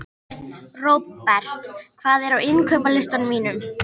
Robert, hvað er á innkaupalistanum mínum?